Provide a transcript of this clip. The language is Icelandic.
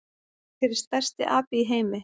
Hver er stærsti api í heimi?